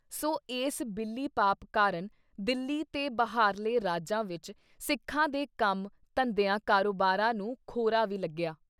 ਸੋ ਇਸ ਬਿੱਲੀ ਪਾਪ ਕਾਰਨ ਦਿੱਲੀ ਤੇ ਬਾਹਰਲੇ ਰਾਜਾਂ ਵਿੱਚ ਸਿੱਖਾਂ ਦੇ ਕੰਮ, ਧੰਦਿਆਂ, ਕਾਰੋਬਾਰਾਂ ਨੂੰ ਖੋਰਾ ਵੀ ਲੱਗਿਆ।